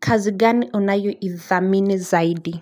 Kazi gani unayo idhamini zaidi?